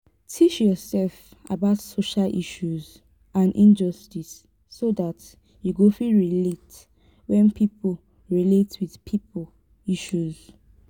teach yourself about social issues and injustice so dat you go fit relate when pipo relate with pipo issues